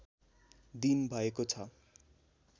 दिन भएको छ